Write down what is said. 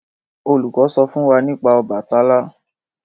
olùkó sọ fún wá nípa Obàtálá.